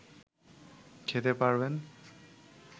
খেতে পারবেন